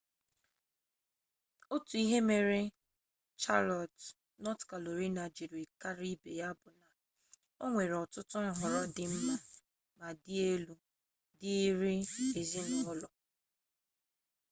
otu n'ime ihe mere chalọt nọt karolaina jiri kara ibe ya bụ na o nwere ọtụtụ nhọrọ dị mma ma dị elu dịịrị ezinụlọ